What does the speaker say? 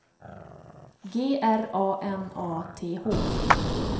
G R A N A T H